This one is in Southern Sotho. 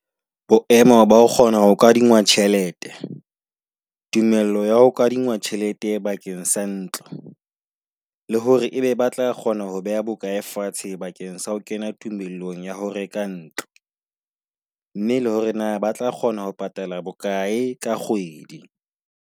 Bo emo ba kgona ho kadingwa tjhelete. Tumello ya ho kadingwa tjhelete bakeng sa ntlo, le hore ebe ba tla kgona ho beha bokae fatshe bakeng sa ho kena tumellong ya ho reka ntlo. Mme le hore na ba tla kgona ho patala bokae ka kgwedi.